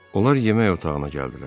Onlar yemək otağına gəldilər.